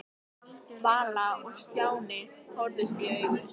Vala og Stjáni horfðust í augu.